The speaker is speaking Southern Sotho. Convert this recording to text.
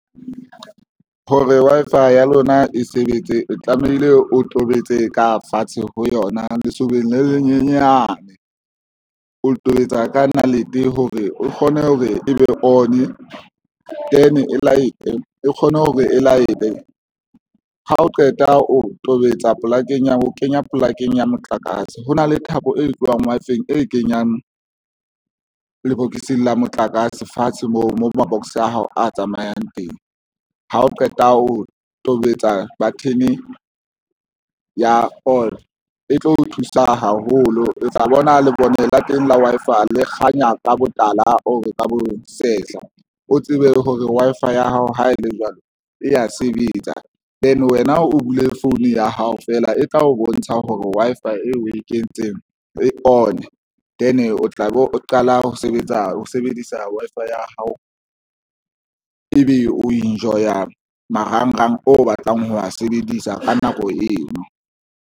Hore Wi-Fi ya lona e sebetse, o tlamehile o tobetse ka fatshe ho yona lesobeng le lenyenyane o tobetsa ka nalete hore o kgone hore e be on e kgone hore e laete. Ha o qeta o tobetsa polakeng ya ho kenya polakeng ya motlakase ho na le thabo e tlohang Wi-Fi-eng e kenyang lebokoseng la motlakase fatshe moo ma-box a hao a tsamayang teng. Ha o qeta o tobetsa button ya on e tlo o thusa haholo, o tla bona lebone la teng la Wi-Fi le kganya ka botala, o ka bo sehla, o tsebe hore Wi-Fi ya hao ha e le jwalo e ya sebetsa then wena o bule phone ya hao fela e tla o bontsha hore Wi-Fi e o e kentseng e one then o tlabe o qala ho sebetsa ho sebedisa Wi-Fi ya hao, ebe o enjoya marangrang o batlang ho a sebedisa. Ka nako eo.